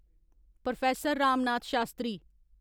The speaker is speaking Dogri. प्रोफैसर राम नाथ शास्त्री